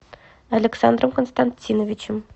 александром константиновичем